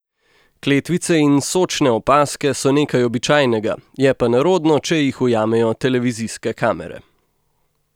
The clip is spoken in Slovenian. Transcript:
Kletvice in sočne opazke so nekaj običajnega, je pa nerodno, če jih ujamejo televizijske kamere.